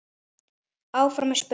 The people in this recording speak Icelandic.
Áfram er spurt.